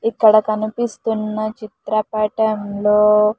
ఇక్కడ కనిపిస్తున్న చిత్రపటంలో.